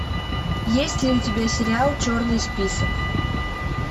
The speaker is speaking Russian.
есть ли у тебя сериал черный список